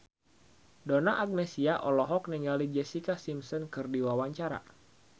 Donna Agnesia olohok ningali Jessica Simpson keur diwawancara